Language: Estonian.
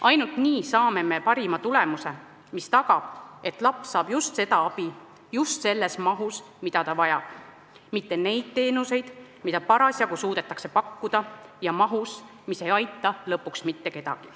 Ainult nii saame me parima tulemuse, mis tagab, et laps saab just seda abi, just selles mahus, mida ta vajab, mitte neid teenuseid, mida parasjagu suudetakse pakkuda, ja mahus, mis ei aita lõpuks mitte kedagi.